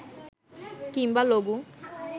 কিংবা লঘু